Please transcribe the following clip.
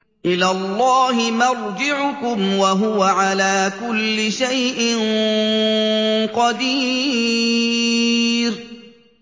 إِلَى اللَّهِ مَرْجِعُكُمْ ۖ وَهُوَ عَلَىٰ كُلِّ شَيْءٍ قَدِيرٌ